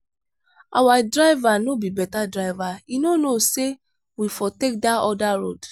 our diver no be beta driver he no know say we for take dat other road.